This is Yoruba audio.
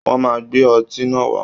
Wọ́n máa gbé ọtí náà wá